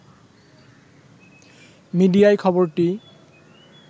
মিডিয়ায় খবরটি